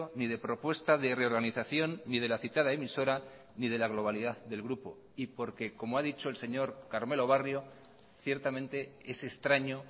ni de propuesta de reorganización ni de la citada emisora ni de la globalidad del grupo y porque como ha dicho el señor carmelo barrio ciertamente es extraño